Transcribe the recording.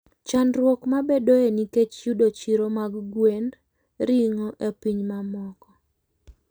Chandruok mabedoe nikech yudo chiro mag gwend ring'o e pinje mamoko.